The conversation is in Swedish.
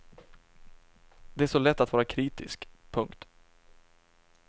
Det är så lätt att vara kritisk. punkt